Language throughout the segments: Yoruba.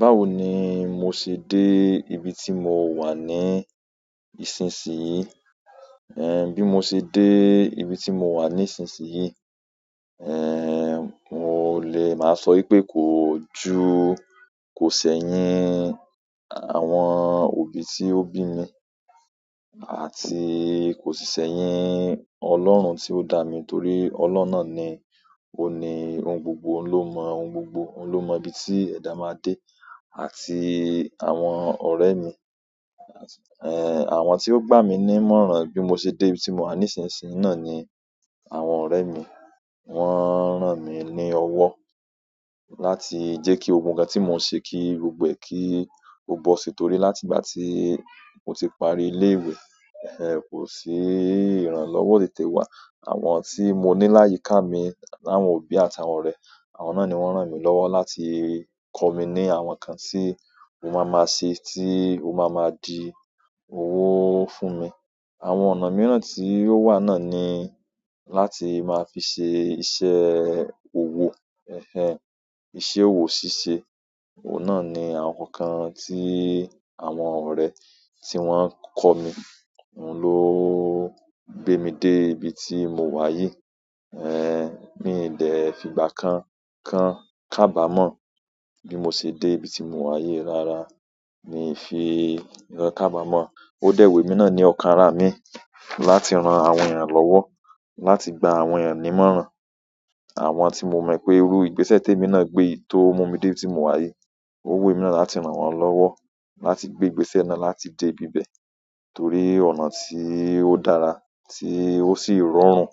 Báwo ni mo ṣe dé ibi tí mo wà ní ìsinsì yìí? Eh, bí mo ṣe dé ibi tí mo wà nísinsìnyí, eh, mo lè máa sọ wípé kò ju, kò sẹ̀yín àwọn òbí tí ó bí mi àti kò sì sẹ̀yín Ọlọ́run tí ó dá mi, torí Ọlọ́run náà ni òní ohun gbogbo, òun ló mọ ohun gbogbo, òun ló mọ ibi tí ẹ̀dá máa dé àti àwọn ọ̀rẹ́ mi, eh, àwọn tí ó gbà mí ní mọ́ran bí mo ṣe dé ibi tí mo wà nísinsìnyí náà ni àwọn ọ̀rẹ́ mi. Wọ́n rán mi ní ọwọ́ láti jẹ́ kí gbogbo ǹkan tí mò ń ṣe kí gbogbo ẹ̀ kí ó bọ́ si, torí láti ìgbà tí mo ti parí ilé ìwé, ẹh, kò sí ìrànlọ́wọ́ ò tètè wá. Àwọn tí mo ní láyìká mi láwọn òbí àti àwọn ọ̀rẹ́, àwọn náà ni wọ́n rán mi lọ́wọ́ láti kọ mí ní àwọn ǹkan tí mo máa ma ṣe tí ó máa ma di owó fún mi. Àwọn ọ̀nà mìíràn tí ó wà náà ni láti máa fi ṣe iṣẹ́ òwò, ẹh ẹh, iṣẹ́ òwò ṣíṣe. Ohun náà ni àwọn ńkan kan tí àwọn ọ̀rẹ́ tí wọ́n kọ́ mi. Òun ló gbé mi dé ibi tí mo wà yìí. Eh, mi ì dẹ́ fi ìgbà kan kan kábàmọ̀ bí mo ṣe dé ibi tí mo wà yìí. Rárá, mi fi ìkan kábàmọ̀. Ó dẹ̀ wù èmi náà ní ọ̀kan ara mi láti ran àwọn èèyàn lọ́wọ́, láti gba àwọn èèyàn ní ìmọ̀ràn, àwọn tí mo mọ̀ pé irú ìgbésẹ̀ tí èmi náà gbé tó mú mi dé ibi tí mò wà yìí. Ó wi èmi náà láti ran wọ́n lọ́wọ́, láti gbé ìgbésẹ̀ náà láti dé ibi ibẹ̀ torí ọ̀nà tí ó dára tí ó sì rọrùn.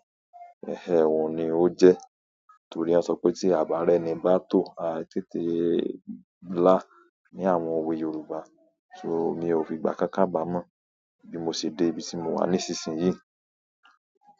Ẹh ẹh, òun ni ó jẹ́ torí won sọ pé tí à bá rẹ́ni bá tó, a tètè là ní àwọn òwe Yorùbá. So, mi ò fi ìgbà kan kábàmọ̀ bí mo ṣe dé ibi tí mo wà nísinsìnyí.